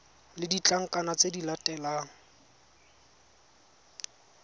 le ditlankana tse di latelang